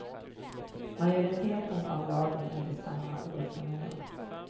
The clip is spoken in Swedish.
Majoriteten av lagen är desamma år från år.